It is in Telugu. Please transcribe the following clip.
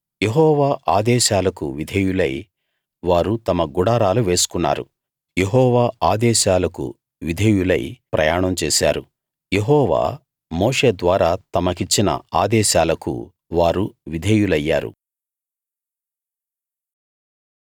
యెహోవా ఆదేశాలకు విధేయులై వారు తమ గుడారాలు వేసుకున్నారు యెహోవా ఆదేశాలకు విధేయులై ప్రయాణం చేశారు యెహోవా మోషే ద్వారా తమకిచ్చిన ఆదేశాలకు వారు విధేయులయ్యారు